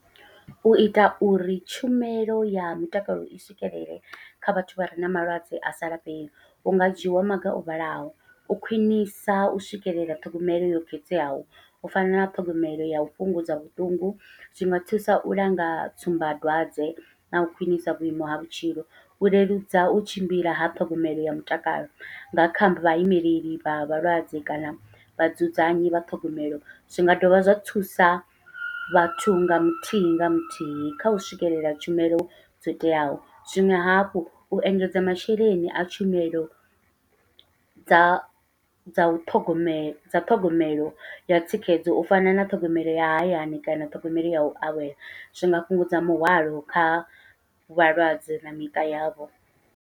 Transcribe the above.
Uita uri tshumelo ya mutakalo i swikelele kha vhathu vhare na malwadze asa lafhei hunga dzhiiwa maga o vhalaho u khwiṋisa u swikelela ṱhogomelo yo khetheaho, u fana na ṱhogomelo yau fhungudza vhuṱungu zwi nga thusa u langa tsumbadwadze nau khwiṋisa vhuimo ha vhutshilo u leludza u tshimbila ha ṱhogomelo ya mutakalo nga kha vha vhaimeleli vha vhalwadze kana vha dzudzanyi vha ṱhogomelo. Zwi nga dovha zwa thusa vhathu nga muthihi nga muthihi kha u swikelela tshumelo dzo teaho zwiṅwe hafhu u engedza masheleni a tshumelo dza dza u ṱhogomela dza ṱhogomelo ya thikhedzo, u fana na ṱhogomelo ya hayani kana ṱhogomelo yau awela zwi nga fhungudza muhwalo kha vhalwadze na miṱa yavho.